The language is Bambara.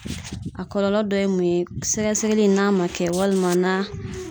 A kɔlɔlɔ dɔ ye mun ye ,sɛgɛsɛgɛli in n'a ma kɛ walima n'a